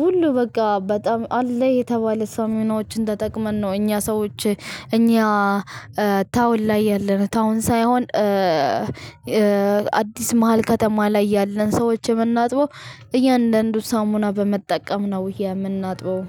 ሁሉ በቃ በጣም አለ የተባለ ሳሙናዎችን ተጠቅመን ነው እኛ ሰዎች። እኛ ታውን ላይ ያለን ታውን ሳይሆን አዲስ መሃል ከተማ ላይ ያለን ሰዎችን የምናጥበው። እያንዳንዱ ሳሙና በመጠቀም ነው የምናጥበው